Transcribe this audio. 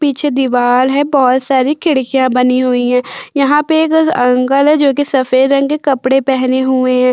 पीछे दीवाल है। बहोत सारी खिड़कियां बनी हुई हैं। यहाँ पे एक अंकल हैं जो कि सफेद रंग के कपड़े पहने हुए हैं।